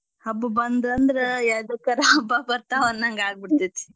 ಹಬ್ಬ ಬಂದ್ವ ಅಂದ್ರ ಯದ್ಕಾರ ಹಬ್ಬಾ ಬರ್ತಾವ್ ಅನ್ನಂಗ ಆಗ್ಬೀಡ್ತೇತಿ.